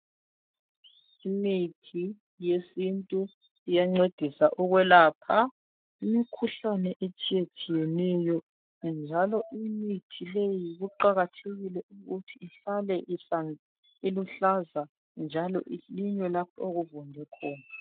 Imithi yesintu iyancedisa ukwelapha imikhuhlane etshiyatshiyeneyo njalo imithi leyi kuqakathekile ukuthi ihlale iluhlaza njalo ilinywe lapho okuvunde khona.